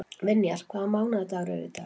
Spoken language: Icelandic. Vinjar, hvaða mánaðardagur er í dag?